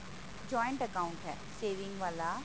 joint account ਹੈ saving ਵਾਲਾ